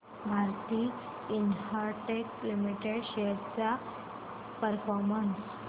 Bharti Infratel limited shares चा performance